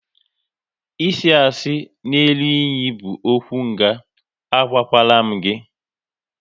Isi asị n'elu iyi bụ okwu nga, a gwakwara m gị!